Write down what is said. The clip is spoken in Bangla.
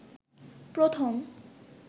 প্রথম